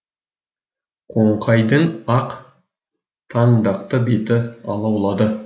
қоңқайдың ақ таңдақты беті алаулады